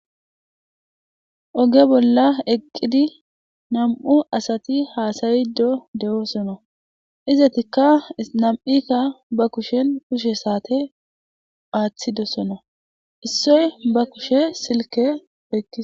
Oge bola eqidi nam'u asati hasayidi de'osona izetika nam'ayka ba kushen kushe sate athidosona issoy ba kushen Silke oykides